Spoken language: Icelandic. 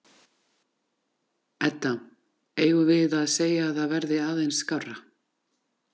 Edda: Eigum við að segja að það verði aðeins skárra?